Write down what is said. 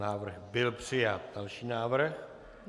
Návrh byl přijat. Další návrh.